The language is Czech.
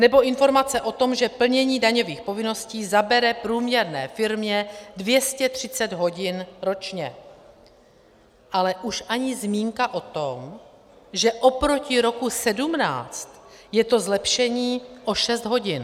Nebo informace o tom, že plnění daňových povinností zabere průměrné firmě 230 hodin ročně, ale už ani zmínka o tom, že oproti roku 2017 je to zlepšení o 6 hodin.